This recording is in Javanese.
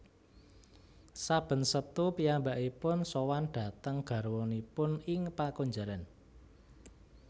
Saben Setu piyambakipun sowan dhateng garwanipun ing pakunjaran